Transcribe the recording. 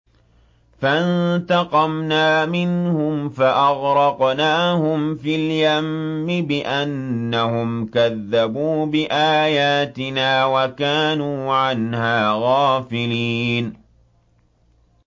فَانتَقَمْنَا مِنْهُمْ فَأَغْرَقْنَاهُمْ فِي الْيَمِّ بِأَنَّهُمْ كَذَّبُوا بِآيَاتِنَا وَكَانُوا عَنْهَا غَافِلِينَ